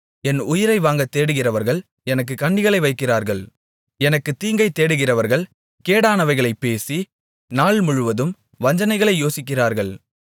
என் உயிரை வாங்கத்தேடுகிறவர்கள் எனக்குக் கண்ணிகளை வைக்கிறார்கள் எனக்குத் தீங்கை தேடுகிறவர்கள் கேடானவைகளைப் பேசி நாள்முழுவதும் வஞ்சனைகளை யோசிக்கிறார்கள்